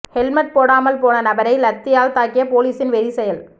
helmet போடாமல் போன நபரை லத்தியால் தாக்கிய பொலிஸின் வெறி செயல்